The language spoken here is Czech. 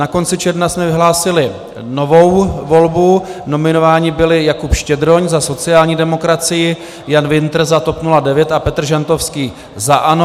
Na konci června jsme vyhlásili novou volbu, nominováni byli Jakub Štědroň za sociální demokracii, Jan Wintr za TOP 09 a Petr Žantovský za ANO.